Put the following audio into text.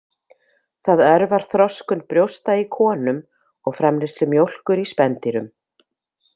Það örvar þroskun brjósta í konum og framleiðslu mjólkur í spendýrum.